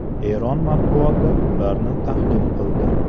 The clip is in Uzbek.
Eron matbuoti ularni tahlil qildi.